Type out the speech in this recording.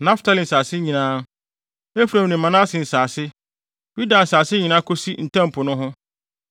Naftali nsase nyinaa; Efraim ne Manase nsase; Yuda nsase nyinaa kosi Ntam Po no ho;